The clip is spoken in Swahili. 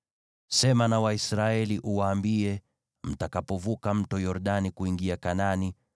“Sema na Waisraeli uwaambie: ‘Mtakapovuka Mto Yordani kuingia Kanaani,